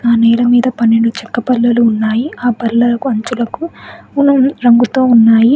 ఆ నేల మీద పన్నెండు చెక్క బల్లలు ఉన్నాయి. ఆ బల్లలకు అంచులకు వులెన్ రంగుతో ఉన్నాయి.